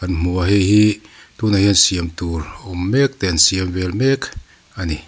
kan hmu a hei hi tun ah hian siam tur awm mek te an siam vel mek a ni.